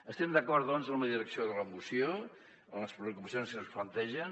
estem d’acord doncs en la direcció de la moció en les preocupacions que ens plantegen